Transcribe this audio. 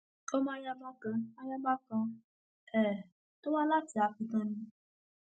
ọmọ ayaba kan ayaba kan um tó wá láti akéetàn ni